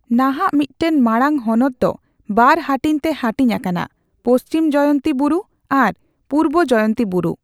ᱱᱟᱦᱟᱜ, ᱢᱤᱫᱴᱟᱝ ᱢᱟᱲᱟᱝ ᱦᱚᱱᱚᱫ ᱫᱚ ᱵᱟᱨ ᱦᱟᱹᱴᱤᱧ ᱛᱮ ᱦᱟᱹᱴᱤᱧ ᱟᱠᱟᱱᱟ ᱺ ᱯᱚᱪᱷᱤᱢ ᱡᱚᱭᱚᱱᱛᱤ ᱵᱩᱨᱩ ᱟᱨ ᱵᱩᱨᱵᱚ ᱡᱚᱭᱚᱱᱛᱤ ᱵᱩᱨᱩ ᱾